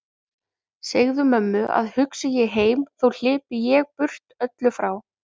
Segðu mömmu að hugsi ég heim þó hlypi ég burt öllu frá.